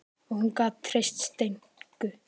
Og hún gat treyst Steinku.